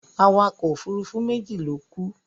Awakọ̀ òfurufú méjì ló kú.